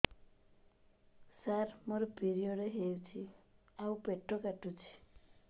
ସାର ମୋର ପିରିଅଡ଼ ହେଇଚି ଆଉ ପେଟ କାଟୁଛି